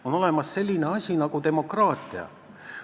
On olemas selline asi nagu demokraatia.